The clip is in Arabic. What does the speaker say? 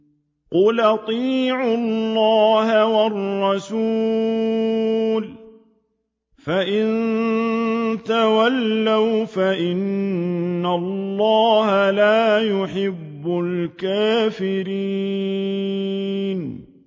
قُلْ أَطِيعُوا اللَّهَ وَالرَّسُولَ ۖ فَإِن تَوَلَّوْا فَإِنَّ اللَّهَ لَا يُحِبُّ الْكَافِرِينَ